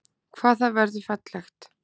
Hvað það verður fallegt!